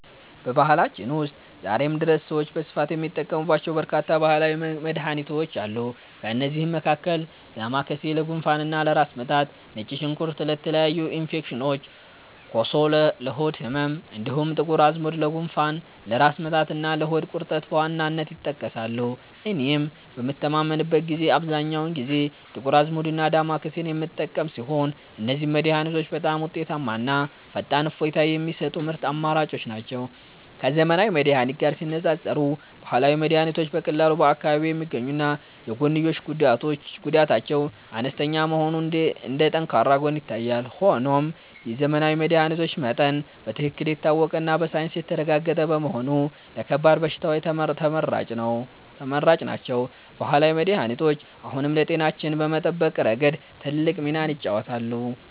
በባህላችን ውስጥ ዛሬም ድረስ ሰዎች በስፋት የሚጠቀሙባቸው በርካታ ባህላዊ መድኃኒቶች አሉ። ከእነዚህም መካከል ዳማከሴ ለጉንፋንና ለራስ ምታት፣ ነጭ ሽንኩርት ለተለያዩ ኢንፌክሽኖች፣ ኮሶ ለሆድ ህመም፣ እንዲሁም ጥቁር አዝሙድ ለጉንፋን፣ ለራስ ምታትና ለሆድ ቁርጠት በዋናነት ይጠቀሳሉ። እኔም በምታመምበት ጊዜ አብዛኛውን ጊዜ ጥቁር አዝሙድና ዳማከሴን የምጠቀም ሲሆን፣ እነዚህ መድኃኒቶች በጣም ውጤታማና ፈጣን እፎይታ የሚሰጡ ምርጥ አማራጮች ናቸው። ከዘመናዊ መድኃኒት ጋር ሲነፃፀር፣ ባህላዊ መድኃኒቶች በቀላሉ በአካባቢ የሚገኙና የጎንዮሽ ጉዳታቸው አነስተኛ መሆኑ እንደ ጠንካራ ጎን ይታያል። ሆኖም የዘመናዊ መድኃኒቶች መጠን በትክክል የታወቀና በሳይንስ የተረጋገጠ በመሆኑ ለከባድ በሽታዎች ተመራጭ ናቸው። ባህላዊ መድኃኒቶች አሁንም ለጤናችን በመጠበቅ ረገድ ትልቅ ሚናን ይጫወታሉ።